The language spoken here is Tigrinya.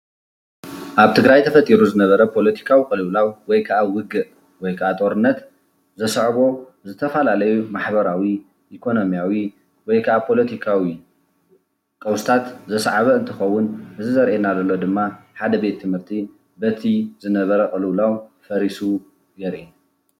ኣብ ትግራይ ተፈጥሩ ዝነበረ ፖለቲካዊ ቁልውላው ወይ ካዓ ውግእ ወይ ከዓ ጦርነትት ዘስዕቦ ዝተፈላለዩ መሕበራዊ፣ ኢኮነሚያዊ ወይ ከዓ ፖለትካዊ ቀውስታት ዘስዓበ እንትኸውን እዚ ዘርእየና ድማኒ ሓደ ቤት ትምህርት በቲ ዝነበረ ቁልውላዊ ፈሪሱ የርኢ።